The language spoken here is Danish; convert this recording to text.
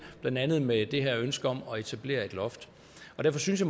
blandt andet med det her ønske om at etablere et loft derfor synes